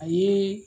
A ye